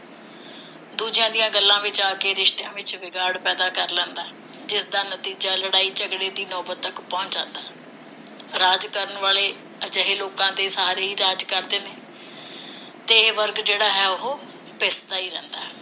ਦੂਜਿਆਂ ਦੀਆਂ ਗੱਲਾਂ ਵਿਚ ਆ ਕੇ ਰਿਸ਼ਤਿਆਂ ਵਿਚ ਵਿਗਾੜ ਪੈਦਾ ਕਰ ਲੈਂਦਾ ਹੈ, ਜਿਸਦਾ ਨਤੀਜਾ ਲੜਾਈ ਝਗੜੇ ਦੀ ਨੌਬਤ ਤਕ ਪਹੁੰਚ ਜਾਂਦਾ ਹੈ ਰਾਜ ਕਰਣ ਵਾਲੇ ਅਜਿਹੇ ਲੋਕਾਂ ਦੇ ਸਹਾਰੇ ਹੀ ਰਾਜ ਕਰਦੇ ਨੇ ਤੇ ਇਹ ਵਰਗ ਜਿਹੜਾ ਹੈ ਉਹ ਪਿਸਦਾ ਹੀ ਰਹਿੰਦਾ ਹੈ